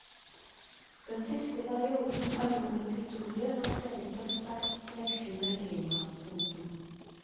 Denne siste perioden av jordens historie var preget av sterkt vekslende klima. punktum